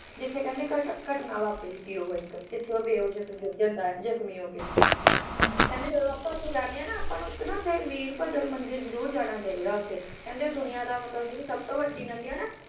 ਜਿਥੇ ਕਹਿੰਦੇ ਘਟ ਘਟਨਾ ਵਾਪਰੀ ਸੀ ਉਹ ਇੱਕ ਜਿੱਥੇ ਉਹ ਬੇਹੋਸ਼ ਹੋਕੇ ਗਿਰ ਜਾਂਦਾ ਆ ਜਖਮੀ ਹੋਕੇ ਹੁੰ ਹੁੰ ਕਹਿੰਦੇ ਜਦੋਂ ਆਪਾ ਉੱਥੇ ਜਾਣੇ ਆ ਨਾ ਆਪਾ ਨੂੰ ਉੱਥੇ ਨਾ ਇੱਕ ਵੀਰਭੱਦਰਾ ਮੰਦਿਰ ਜਰੂਰ ਜਾਣਾ ਚਾਹੀਦਾ ਉੱਥੇ ਕਹਿੰਦੇ ਦੁਨੀਆਂ ਦਾ ਮਤਲਬ ਜਿਹੜੀ ਸਭਤੋਂ ਵੱਡੀ ਨੰਦੀ ਆ ਨਾ